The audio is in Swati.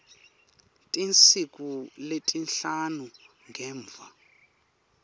tinsuku letisihlanu ngemva